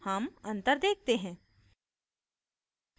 हम अंतर देखते हैं